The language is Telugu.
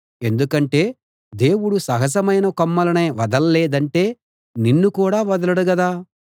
ఎందుకంటే దేవుడు సహజమైన కొమ్మలనే వదల్లేదంటే నిన్ను కూడా వదలడు గదా